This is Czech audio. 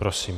Prosím.